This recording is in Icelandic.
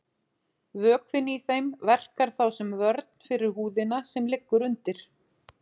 Vökvinn í þeim verkar þá sem vörn fyrir húðina sem liggur undir.